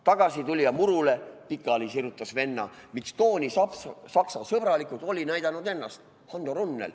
Tagasi tuli ja murule pikali sirutas venna – miks too nii saksasõbralikult oli näidanud ennast.